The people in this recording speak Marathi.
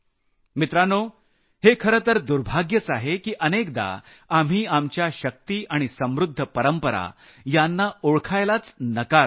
मित्रांनो हे खरंतर दुर्भाग्यच आहे की अनेकदा आम्ही आमच्या शक्ती आणि समृद्ध परंपरा यांना ओळखायलाच नकार देतो